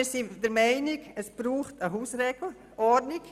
Wir sind der Meinung, dass es Hausordnungen braucht.